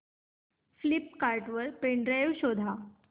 Flipkart वर pen drive शोधा